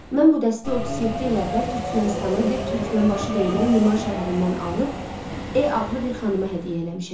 Mən bu dəsti 37 il əvvəl Türkmənistanın indi Türkmənbaşı deyilən Liman şəhərindən alıb E adlı bir xanıma hədiyyə eləmişəm.